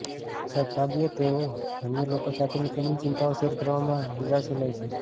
સદભાગ્યે તેઓ અન્ય લોકો સાથેની તેમની ચિંતાઓ શેર કરવામાં દિલાસો લે છે